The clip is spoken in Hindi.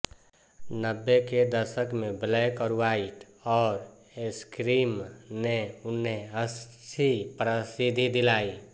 नब्बे के दशक में ब्लैक ऑर ह्वाइट और स्क्रीम ने उन्हें अच्छी प्रसिद्धि दिलाई